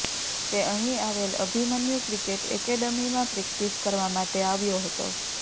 તે અહીં આવેલ અભિમન્યુ ક્રિકેટ એકેડમીમાં પ્રેક્ટિસ કરવા માટે આવ્યો હતો